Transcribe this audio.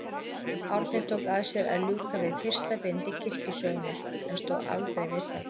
Árni tók að sér að ljúka við fyrsta bindi kirkjusögunnar, en stóð aldrei við það.